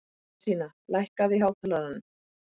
Jónasína, lækkaðu í hátalaranum.